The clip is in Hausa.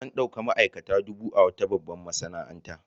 An ɗauki ma'aikata dubu a wata babbar masana'anta.